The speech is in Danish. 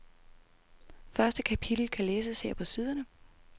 Første kapitel kan læses her på siderne.